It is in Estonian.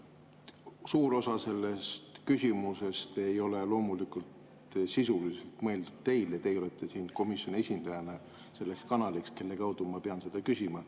Suur osa sellest küsimusest ei ole loomulikult sisuliselt mõeldud teile, teie olete siin komisjoni esindajana selleks kanaliks, kelle kaudu ma pean seda küsima.